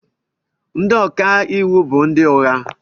Ndị ọka iwu bụ ndị ụgha